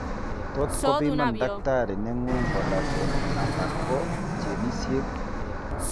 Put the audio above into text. Tot kopiman takitari neng'ung' collagen ala ko genesiek